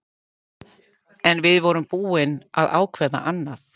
En við vorum búin að ákveða annað.